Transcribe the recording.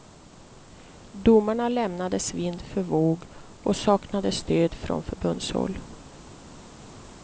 Domarna lämnades vind för våg, och saknade stöd från förbundshåll.